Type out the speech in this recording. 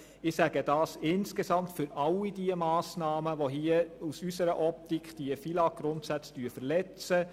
Ich sage dies insgesamt für all diese Massnahmen, die aus unserer Optik die FILAGGrundsätze verletzen.